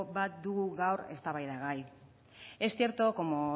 bat dugu gaur eztabaidagai es cierto como